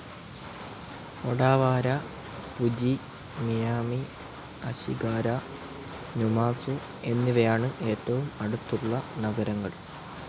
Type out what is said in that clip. Odawara, Fuji, Minami Ashigara, Numazu എന്നിവയാണ് ഏറ്റവും അടുത്തുള്ള നഗരങ്ങൾ.